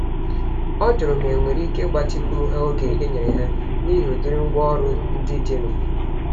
Ọ jụrụ ma enwere íke igbatịkwuru ha oge enyere ha, n'ihi ụdịrị ngwá ọrụ ndị dị nụ